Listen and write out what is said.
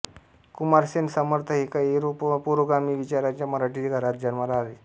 कुमारसेन समर्थ हे एका पुरोगामी विचाराच्या मराठी घरात जन्माला आले